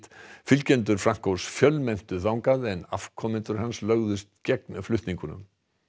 fylgjendur fjölmenntu þangað en afkomendur hans lögðust gegn flutningnum